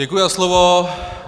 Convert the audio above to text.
Děkuji za slovo.